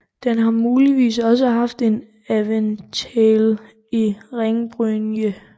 Den har muligvis også haft en aventail i ringbrynje